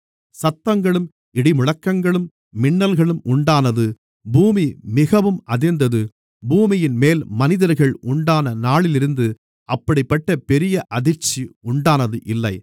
சத்தங்களும் இடிமுழக்கங்களும் மின்னல்களும் உண்டானது பூமி மிகவும் அதிர்ந்தது பூமியின்மேல் மனிதர்கள் உண்டான நாளிலிருந்து அப்படிப்பட்ட பெரிய அதிர்ச்சி உண்டானது இல்லை